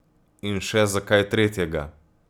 In še za kaj tretjega.